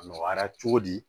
A nɔgɔyara cogo di